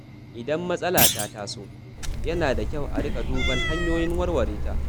Idan matsala ta taso, yana da kyau a riƙa duban hanyoyin warware ta.